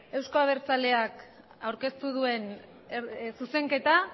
euzko abertzaleak aurkeztu duen zuzenketa